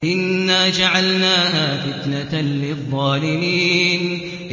إِنَّا جَعَلْنَاهَا فِتْنَةً لِّلظَّالِمِينَ